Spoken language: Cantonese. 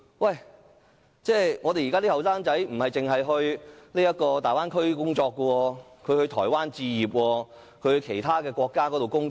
然而，我們的年輕人不但可前往大灣區工作，也可到台灣置業或其他國家工作。